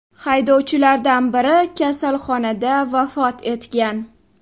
Haydovchilardan biri kasalxonada vafot etgan.